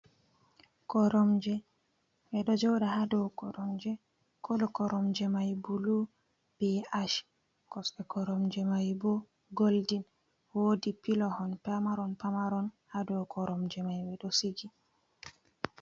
Koromje ɓe ɗo joda ha dow koromje kolo koromje mai bulu be ash kosɗe koromje mai bo golden wodi pilihon pamaron pamaron ha dow koromje mai ɓe ɗo sigi.